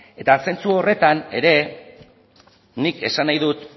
eta zentzu horretan ere nik esan nahi dut